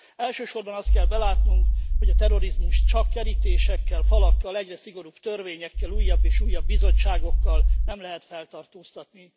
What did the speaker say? Elsősorban azt kell belátnunk, hogy a terrorizmust csak kerítésekkel, falakkal, egyre szigorúbb törvényekkel, újabb és újabb bizottságokkal nem lehet feltartóztatni.